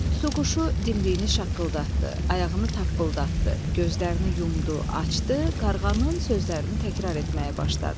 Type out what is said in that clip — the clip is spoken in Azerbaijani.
Tutuquşu dimdiyini şaqqıldatdı, ayağını tappıldatdı, gözlərini yumdu, açdı, qarğanın sözlərini təkrar etməyə başladı.